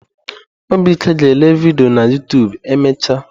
Obike ga ele vidiyo na Yoụtụbụ emecha.